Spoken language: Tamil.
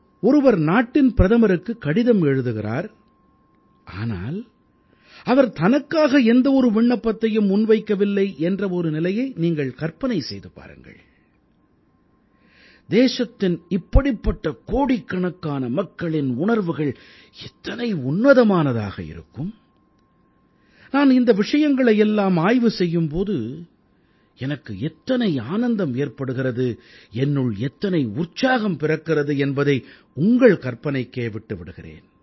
ஒருவர் நாட்டின் பிரதமருக்கு கடிதம் எழுதுகிறார் ஆனால் அவர் தனக்காக எந்த ஒரு விண்ணப்பத்தையும் முன்வைக்கவில்லை என்ற ஒரு நிலையை நீங்கள் கற்பனை செய்து பாருங்களேன் தேசத்தின் இப்படிப்பட்ட கோடிக்கணக்கான மக்களின் உணர்வுகள் எத்தனை உன்னதமானதாக இருக்கும் நான் இந்த விஷயங்களை எல்லாம் ஆய்வு செய்யும் போது எனக்கு எத்தனை ஆனந்தம் ஏற்படுகிறது என்னுள் எத்தனை உற்சாகம் பிறக்கிறது என்பதை உங்கள் கற்பனைக்கே விட்டு விடுகிறேன்